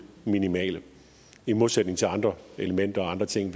minimale i modsætning til andre elementer og andre ting